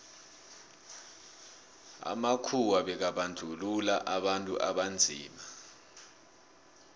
amakhuwa bekabandluua abantu abanzima